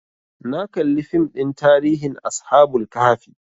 Na kalli fim ɗin tarihin ashabul kahfi